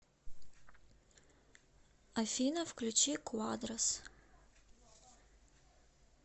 афина включи куадрос